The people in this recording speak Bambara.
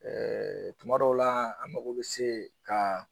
tuma dɔw la an mago bɛ se ka